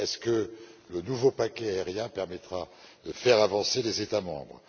Est ce que le nouveau paquet Aviation permettra de faire avancer les États membres?